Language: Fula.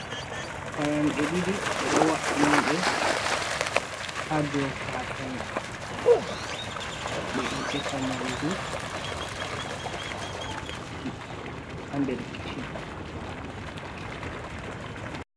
Fayanɗe ɗiɗi ɓe ɗo wa’ini ɗe ha dow katane, ɓe ɗo defa nyamdu ha nder kicchin.